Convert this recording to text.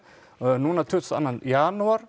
núna tuttugasta og annan janúar